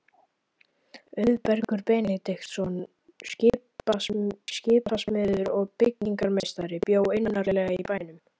Auðbergur Benediktsson, skipasmiður og byggingarmeistari, bjó innarlega í bænum.